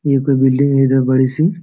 ये कोई बिल्डिंग है जो बड़ी सी |